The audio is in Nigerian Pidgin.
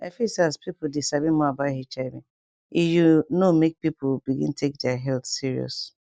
i feel say as people dey sabi more about hiv e you know make people begin take their health serious